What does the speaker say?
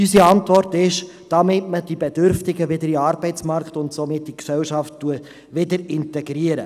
Unsere Antwort ist: Damit man die Bedürftigen wieder in den Arbeitsmarkt und somit in die Gesellschaft integriert.